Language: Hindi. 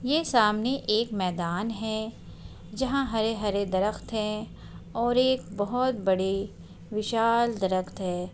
ये सामने एक मैदान है जहाँ हरे-हरे दरख्त है और एक बोहोत बड़े विशाल दरख्त है।